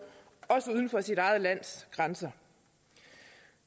også uden for sit eget lands grænser